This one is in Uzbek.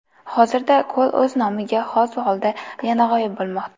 Hozirda ko‘l o‘z nomiga xos holda yana g‘oyib bo‘lmoqda.